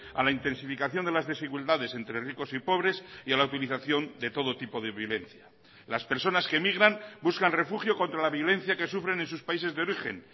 a la intensificación de las desigualdades entre ricos y pobres y a la utilización de todo tipo de violencia las personas que emigran buscan refugio contra la violencia que sufren en sus países de origen